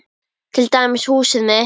Til dæmis húsið mitt.